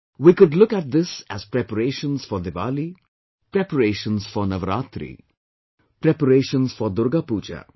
We could look at this as preparations for Diwali, preparations for Navaratri, preparations for Durga Puja